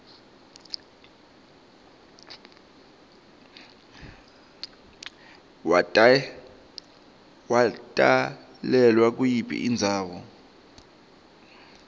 watalelwa kuyiphi indzawo